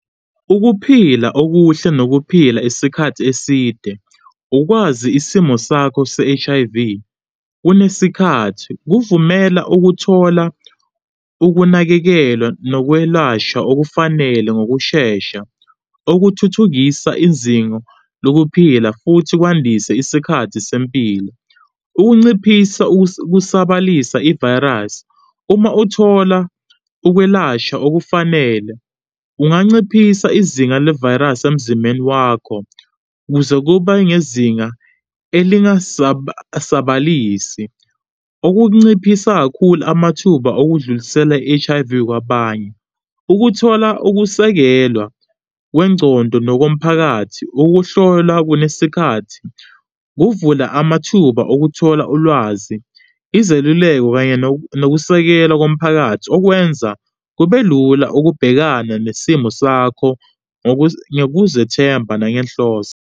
Ukuphila okuhle nokuphila isikhathi eside, ukwazi isimo sakho se-H_I_V kunesikhathi kuvumela ukuthola ukunakekelwa nokwelashwa okufanele ngokushesha, okuthuthukisa izingo lokuphila futhi kwandise isikhathi sempilo. Ukunciphisa ukusabalisa ivayirasi uma uthola ukwelashwa okufanele kunganciphisa izinga levayirasi emzimbeni wakho kuze kube ngezinga elingasabalisi, okunganciphisa kakhulu amathuba okudlulisela i-H_I_V kwabanye, ukuthola ukusekelwa kwengcondo nokomphakathi. Ukuhlolwa kunesikhathi kuvula amathuba okuthola ulwazi, izeluleko, kanye nokusekelwa komphakathi okwenza kube lula ukubhekana nesimo sakho ngokuzethemba nangenhloso.